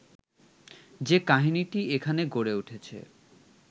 যে কাহিনিটি এখানে গড়ে উঠেছে